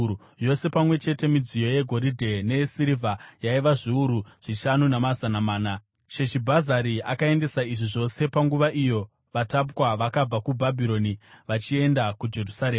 Yose pamwe chete, midziyo yegoridhe neyesirivha yaiva zviuru zvishanu namazana mana. Sheshibhazari akaendesa izvi zvose panguva iyo vatapwa vakabva kuBhabhironi vachienda kuJerusarema.